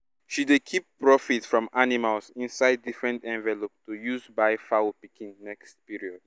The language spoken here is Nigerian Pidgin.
she dey keep profit from animals inside different envelope to use buy fowl pikin next period